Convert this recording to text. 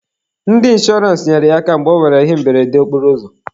Ndị inshọrance nyere ya aka mgbe ọ nwere ihe mberede okporoụzọ.